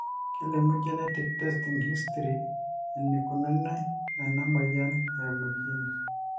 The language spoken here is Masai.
kelumu genetic testing history enikununi ena moyian eimu genes